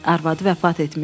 Arvadı vəfat etmişdi.